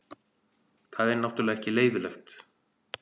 Það er náttúrulega ekki leyfilegt.